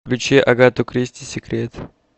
включи агату кристи секрет